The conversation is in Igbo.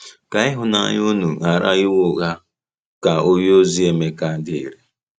“Ka ịhụnanya unu ghara inwe ụgha,” ka onyeozi Emeka dere.